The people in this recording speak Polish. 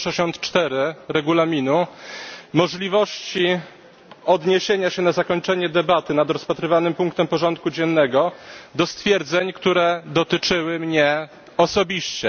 164 Regulaminu dotyczącego możliwości odniesienia się na zakończenie debaty nad rozpatrywanym punktem porządku dziennego do stwierdzeń, które dotyczyły mnie osobiście.